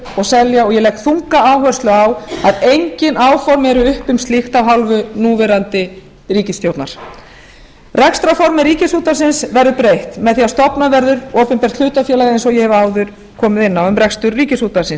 og selja ég legg þunga áherslu á að engin áform eru uppi um slíkt af hálfu núverandi ríkisstjórnar rekstrarformi ríkisútvarpið verður breytt með því að stofnað verður opinbert hlutafélag eins og ég hef áður komið inn á um rekstur ríkisútvarpið